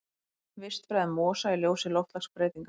Vistfræði mosa í ljósi loftslagsbreytinga.